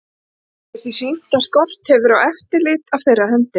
Er því sýnt, að skort hefur á eftirlit af þeirra hendi.